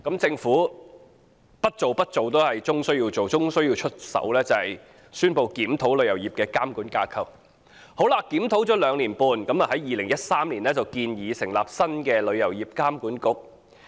政府最終不得不宣布檢討旅遊業的監管架構。經過兩年半的檢討，政府在2013年建議成立新的旅監局。